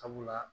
Sabula